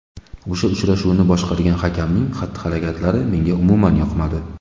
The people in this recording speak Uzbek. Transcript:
O‘sha uchrashuvni boshqargan hakamning xatti-harakatlari menga umuman yoqmadi.